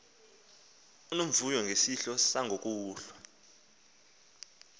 unomvuyo ngesidlo sangokuhlwa